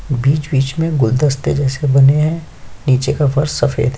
बीच -बीच में गुलदस्ते जैसे बने है नीचे का फर्श सफ़ेद है।